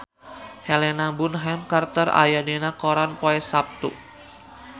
Helena Bonham Carter aya dina koran poe Saptu